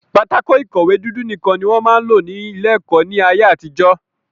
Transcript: Pátákó ìkọ̀wé dúdú nìkan ni wọ́n máa ń lò ní ilé-ẹ̀kọ́ ní ayé-àtijọ́.